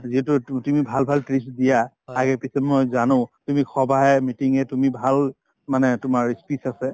যিটো তু তুমি ভাল ভাল tips দিয়া আগে পিছে মই জানো তুমি সভায়ে meeting য়ে তুমি ভাল মানে তোমাৰ ই speech আছে